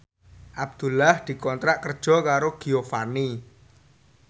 Abdullah dikontrak kerja karo Giovanni